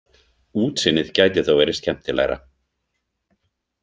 Útsýnið gæti þó verið skemmtilegra.